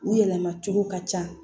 U yɛlɛma cogo ka ca